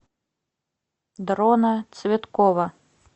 дрона цветкова